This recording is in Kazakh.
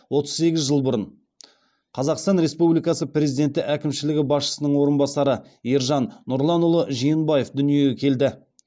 отыз сегіз жыл бұрын қазақстан республикасы президенті әкімшілігі басшысының орынбасары ержан нұрланұлы жиенбаев дүниеге келді